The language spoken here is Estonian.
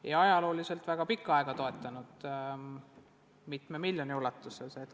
Neid on ajalooliselt väga pikka aega toetatud mitme miljoni ulatuses.